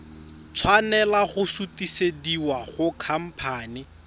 tshwanela go sutisediwa go khamphane